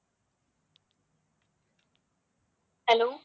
hello